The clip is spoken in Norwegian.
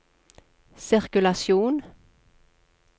sirkulasjon